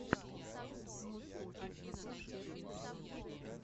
москоу тесла клаб первый эпизод